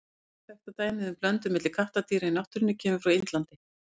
Eina þekkta dæmið um blöndun milli kattardýra í náttúrunni kemur frá Indlandi.